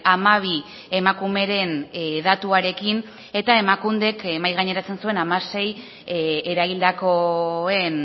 hamabi emakumeren datuarekin eta emakundek mahai gaineratzen zuen hamasei eraildakoen